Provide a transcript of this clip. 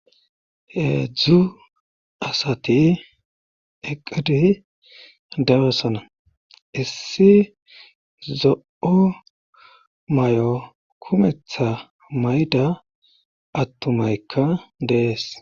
Hedzdzu asati eqidi dabasana issi zo'o may'o kumetha mayda attumaykka dees.